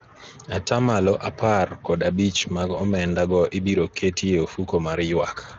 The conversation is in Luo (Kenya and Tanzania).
atamalo apar kod abich mag omenda go ibiro keti e ofuko mar ywak